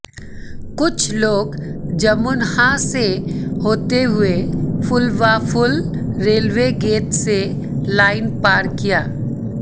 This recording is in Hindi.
कुछ लोग जमुनहा से होते हुए फुलवाफुल रेलवे गेट से लाइन पार किया